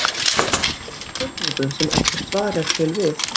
Getum við búið til spurningu, sem ekkert svar er til við?